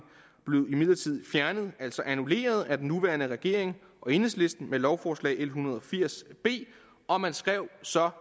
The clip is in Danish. blev imidlertid fjernet altså annulleret af den nuværende regering og enhedslisten med lovforslag l en hundrede og firs b og man skrev så